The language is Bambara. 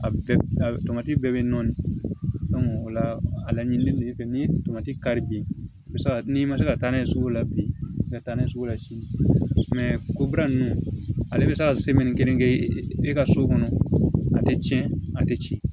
A bɛɛ a tɔmati bɛɛ be nɔɔni o la a laɲini fɛn ni tomati kari bi se ka n'i ma se ka taa n'a ye sugu la bi i ka taa n'a ye sugu la sini kopra ninnu ale bɛ se ka kelen kɛ e ka so kɔnɔ a tɛ tiɲɛ a tɛ tiɲɛ